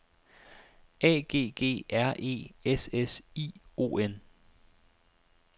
A G G R E S S I O N